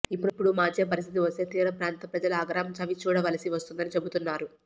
ఇప్పుడు మార్చే పరిస్థితి వస్తే తీర ప్రాంత ప్రజల ఆగ్రహం చవిచూడవలసి వస్తుందని చెబుతున్నారు